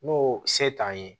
N'o se t'an ye